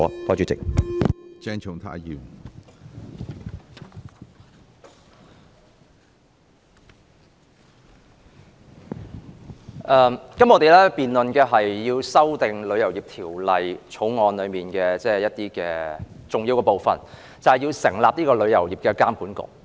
我們今天辯論《旅遊業條例草案》，其中重要的部分就是成立旅遊業監管局。